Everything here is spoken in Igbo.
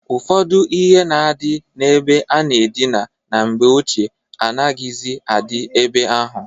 Ụfọdụ ihe na-adị na-ebe a na-adina na mgbe ochie anaghịzị adị ebe ahụ.